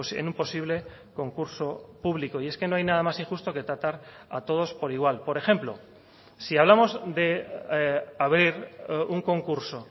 en un posible concurso público y es que no hay nada más injusto que tratar a todos por igual por ejemplo si hablamos de abrir un concurso